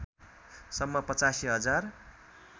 सम्म ८५ हजार